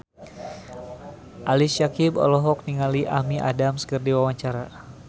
Ali Syakieb olohok ningali Amy Adams keur diwawancara